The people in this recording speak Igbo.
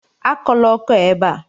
Akọla ọkọ a ébé a!